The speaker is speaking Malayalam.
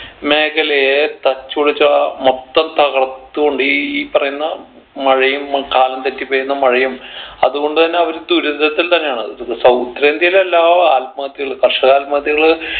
മേഖലയെ തച്ചുടച്ച മൊത്തം തകർത്തു കൊണ്ട് ഈ പറയുന്ന മഴയും കാലം തെറ്റി പെയ്യുന്ന മഴയും അത്കൊണ്ട് തന്നെ അവര് ദുരിതത്തിൽ തന്നെയാണത് south ഉത്തരേന്ത്യയിൽ എല്ലാ ആത്മഹത്യകൾ കർഷക ആത്മഹത്യകൾ